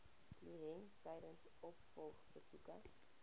kliënt tydens opvolgbesoeke